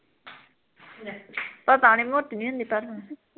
ਪਤਾ ਨੀ ਮੋਟੀ ਨੀ ਹੁੰਦੀ ਪਰ ਮੈਂ